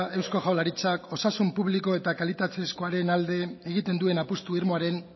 eusko jaurlaritzak osasun publiko eta kalitatezkoaren alde egiten duen apustu irmoaren